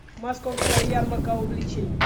московская ярмарка увлечений